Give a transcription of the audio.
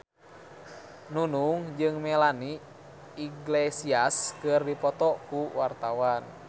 Nunung jeung Melanie Iglesias keur dipoto ku wartawan